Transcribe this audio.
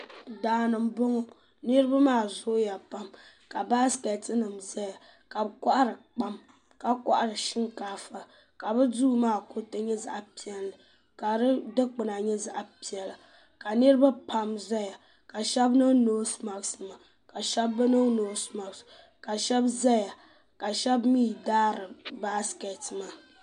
Daani m boŋɔ niriba maa zooya pam ka baasiketi nima zaya ka bɛ kohari kpam ka kohari shinkaafa ka bɛ duu maa kuriti nyɛ zaɣa piɛlli ka di dikpina nyɛ zaɣa piɛla ka niriba pam zaya ka sheba niŋ noosi maaki nima ka sheba bi niŋ noosi maaki nima ka sheba zaya ka sheba mee daari baasiketi maa.